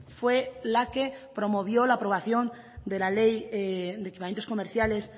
fue la que promovió la aprobación de la ley de equipamientos comerciales